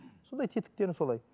сондай тетіктерін солай